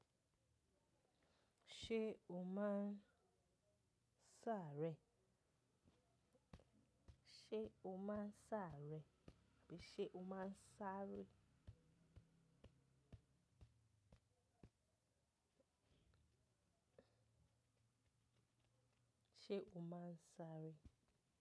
Se o ma n saare? Ṣé o máa ń sáré? Ṣé o maa n sare?